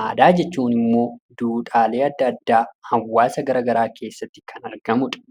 aadaa jechuun immoo duudhaalee adda addaa hawaasa garagaraa keessatti kan argamu dha.